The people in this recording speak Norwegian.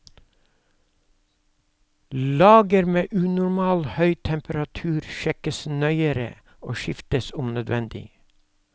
Lager med unormal høy temperatur sjekkes nøyere og skiftes om nødvendig.